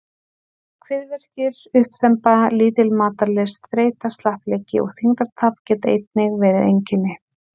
Kviðverkir, uppþemba, lítil matarlyst, þreyta, slappleiki og þyngdartap geta einnig verið einkenni.